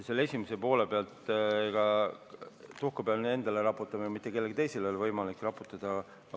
Küsimuse esimese poole kohta: eks ma pean endale tuhka pähe raputama, mitte kellelegi teisele ei ole võimalik raputada.